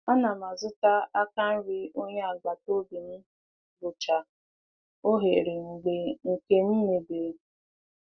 A na m azụta aka nri onye agbata obi m gụchaa oghere mgbe nke m mebiri.